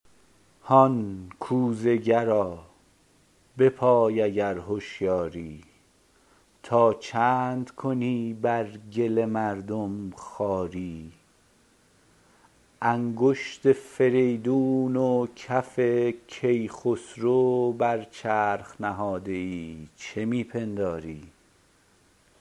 هان کوزه گرا بپای اگر هشیاری تا چند کنی بر گل مردم خواری انگشت فریدون و کف کیخسرو برچرخ نهاده ای چه می پنداری